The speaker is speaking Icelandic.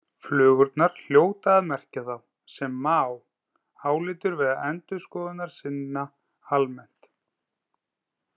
Flugurnar hljóta að merkja þá, sem Maó álítur vera endurskoðunarsinna almennt.